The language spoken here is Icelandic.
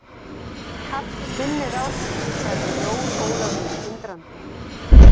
Kallinn minnir á mig, sagði Jón Ólafur undrandi.